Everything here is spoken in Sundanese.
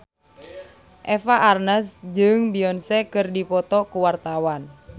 Eva Arnaz jeung Beyonce keur dipoto ku wartawan